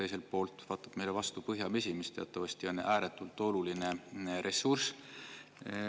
Teiselt poolt vaatab meile vastu põhjavesi, mis teatavasti on ääretult oluline ressurss.